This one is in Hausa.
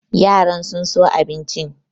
Yaran sun so abincin.